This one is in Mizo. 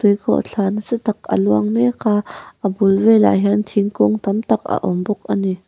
tui khawhthla nasa tak a luang mek a a bul velah hian thingkung tam tak a awm bawk ani.